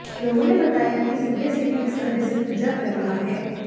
लोगों ने बताया कि ये सुबह से ही इस तरह से पूजा कर रहा है